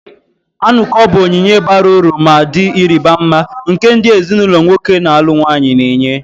Anuko bụ onyinye bara uru ma dị ịrịba ama, nke ndị ezinụlọ nwoke na-alụ nwanyị na-enye.